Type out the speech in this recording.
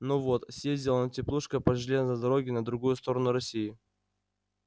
ну вот съездил он теплушкой по железной дороге на другую сторону россии